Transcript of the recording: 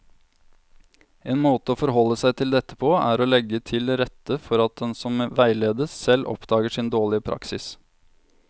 En måte å forholde seg til dette på er å legge til rette for at den som veiledes, selv oppdager sin dårlige praksis.